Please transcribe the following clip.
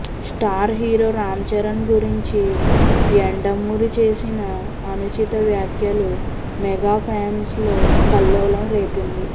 star hero Ram Charan గురించి యండమూరి చేసిన అనుచిత వ్యాఖ్యలు మెగా ఫ్యాన్స్లో కల్లోలం రేపింది